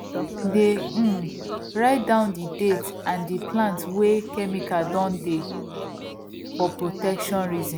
dey um write down the date and the plant wey chemical don dey for protection reason